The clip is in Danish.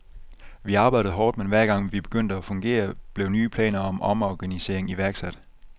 Vi arbejdede hårdt, men hver gang vi begyndte at fungere, blev nye planer om omorganisering iværksat.